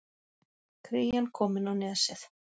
Krían komin á Nesið